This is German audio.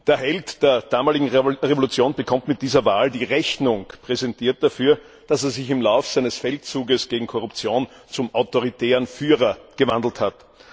Der Held der damaligen Revolution bekommt mit dieser Wahl die Rechnung dafür präsentiert, dass er sich im Lauf seines Feldzuges gegen Korruption zum autoritären Führer gewandelt hat.